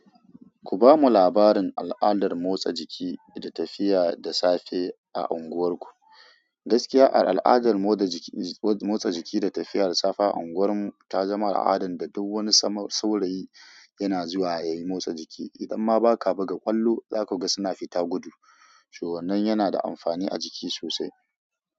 Ku bamu labarin al'adar motsa jiki da tafiya da safe a unguwarku. Gaskiya a al'adar motsa jiki da tafiya da safe a unguwar mu ta zama al'adar da duk wani saurayi yana zuwa ya yi motsa jiki. Idan ma ba ka buga ƙwallo, za ka ga suna fita gudu. To wannan yana da amfani a jiki sosai.